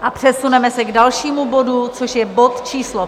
A přesuneme se k dalšímu bodu, což je bod číslo